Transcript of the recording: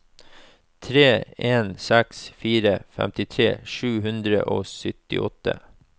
tre en seks fire femtitre sju hundre og syttiåtte